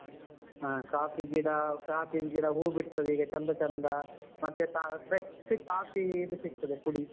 ಹ ಕಾಫೀ ಗಿಡ ಕಾಫೀ ಗಿಡ ಹೂ ಬಿಡ್ತದೆ ಈಗ ಚೆಂದ ಚೆಂದ ಮತ್ತೆ fresh ಕಾಫೀ ಇದು ಸಿಕ್ತದೆ ಪುಡಿ.